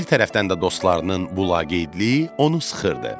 Bir tərəfdən də dostlarının bu laqeydliyi onu sıxırdı.